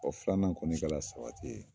Ɔ filanan kɔni kɛla sabati ye